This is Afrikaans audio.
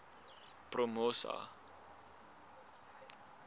promosa